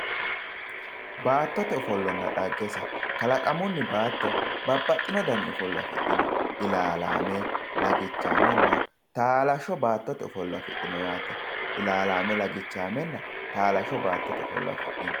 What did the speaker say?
Baattote ofollonna dhaggese, kalaqamunni baatto babbaxino danna ofollo afidhino ilalame lagichame taalasho baattote ofollo afidhino yaate, ilalame lagichamenna taalame baattote ofollo afidhino.